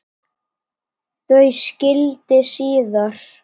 Þau skildi síðar.